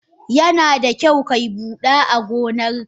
Yanada kyau kayi hada agonan ka.